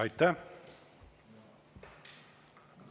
Aitäh!